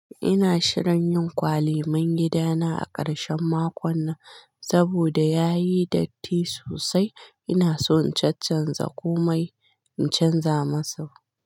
Ina shirin yin kwali man gida na a karshen makon nan. Saboda ya yi datti sosai, ina so in cancanza komai in canza masa.